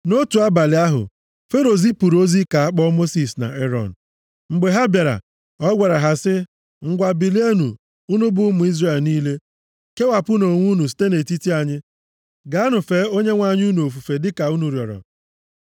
Nʼotu abalị ahụ, Fero zipụrụ ozi ka a kpọ Mosis na Erọn. Mgbe ha bịara, ọ gwara ha sị, “Ngwa bilienụ, unu bụ ụmụ Izrel niile. Kewapụnụ onwe unu site nʼetiti anyị. Gaanụ, fee Onyenwe anyị unu ofufe dịka unu rịọrọ.